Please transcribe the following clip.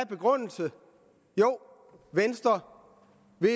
begrundelse at venstre